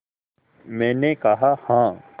मैंने कहा हाँ